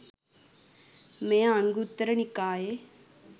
මෙය අංගුත්තර නිකායේ